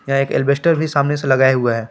यह एक एल्वेस्टर भी सामने से लगाए हुआ है।